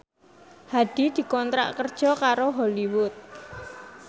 Hadi dikontrak kerja karo Hollywood